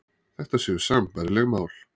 Þetta séu sambærileg mál